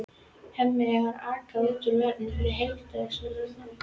Hemmi er að aka út vörum fyrir heildsöluna.